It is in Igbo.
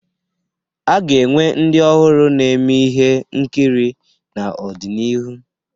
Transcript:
A ga-enwe ndị ọhụrụ na-eme ihe nkiri n'ọdịnihu.